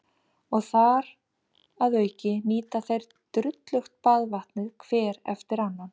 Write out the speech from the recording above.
Og þar að auki nýta þeir drullugt baðvatnið hver eftir annan.